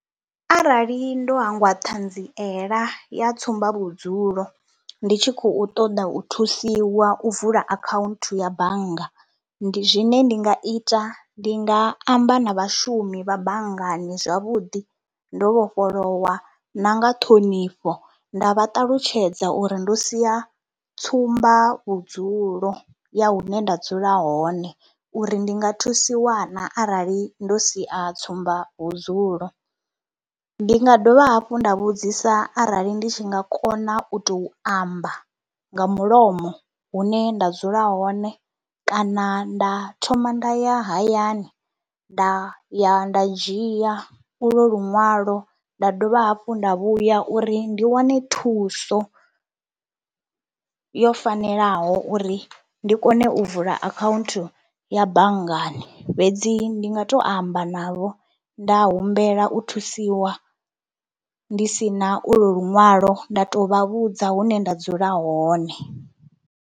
Arali ndo hangwa ṱhanziela ya tsumba vhudzulo ndi tshi khou ṱoḓa u thusiwa u vula akhaunthu ya bannga, ndi zwine, ndi nga ita ndi nga amba na vhashumi vha banngani zwavhuḓi ndo vhofholowa na nga ṱhonifho, nda vha ṱalutshedza uri ndo sia tsumba vhudzulo ya hune nda dzula hone uri ndi nga thusi na arali ndo sia tsumba vhudzulo. Ndi nga dovha hafhu nda vhudzisa arali ndi tshi nga kona u tou amba nga mulomo hune nda dzula hone kana nda thoma nda ya hayani nda ya nda dzhia ulwo luṅwalo nda dovha hafhu nda vhuya uri ndi wane thuso yo fanelaho uri ndi kone u vula akhaunthu ya banngani. Fhedzi ndi nga tou amba navho nda humbela u thusiwa ndi si na ulwo luṅwalo nda tou vha vhudza hune nda dzula hone.